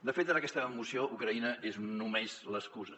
de fet en aquesta moció ucraïna és només l’excusa